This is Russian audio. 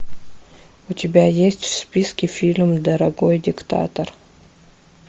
у тебя есть в списке фильм дорогой диктатор